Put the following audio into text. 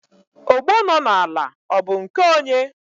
ogbo nọ n'ala ọ bụ nke onye?